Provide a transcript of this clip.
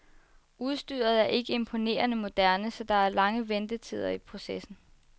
Udstyret er ikke imponerende moderne, så der er lange ventetider i processen.